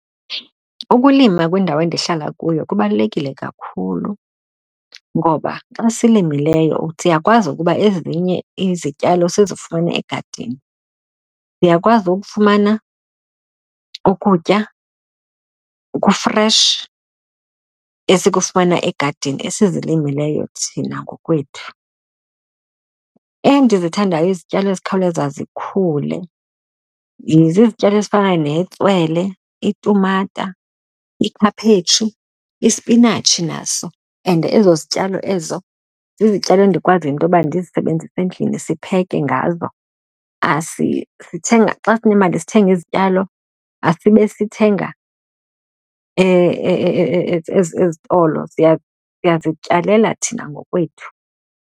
Ukulima kwindawo endihlala kuyo kubalulekile kakhulu ngoba xa silimileyo siyakwazi ukuba ezinye izityalo sizifumane egadini. Siyakwazi ukufumana ukutya oku-fresh, esikufumana egadini esizilimileyo thina ngokwethu. Endizithandayo izityalo ezikhawuleza zikhule zizityalo ezifana netswele, iitumata, ikhaphetshu, ispinatshi naso and ezo zityalo ezo zizityalo endikwaziyo into yoba ndizisebenzise endlini sipheke ngazo. Sithenga xa sinemali sithenga izityalo, asibe sithenga ezitolo, siyazityalela thina ngokwethu.